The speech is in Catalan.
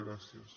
gràcies